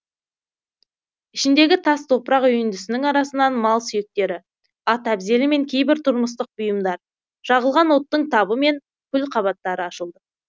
ішіндегі тас топырақ үйіндісінің арасынан мал сүйектері ат әбзелі мен кейбір тұрмыстық бұйымдар жағылған оттың табы мен күл қабаттары ашылды